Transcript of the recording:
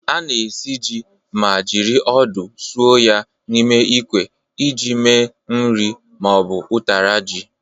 A na-esi ji ma jiri odo sọọ ya n'ime ikwe iji me nri ma ọ bụ ụtara ji.